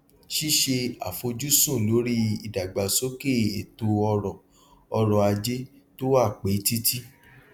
ṣíṣe àfojúsùn lórí ìdàgbàsókè ètò ọrò ọrò ajé tó wà pé títí